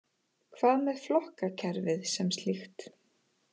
Hvað með flokkakerfið sem slíkt